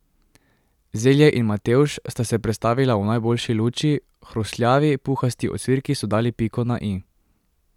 Zelje in matevž sta se predstavila v najboljši luči, hrustljavi, puhasti ocvirki so dali piko na i.